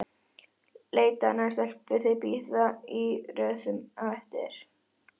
Leitaðu að annarri stelpu, þær bíða í röðum eftir þér!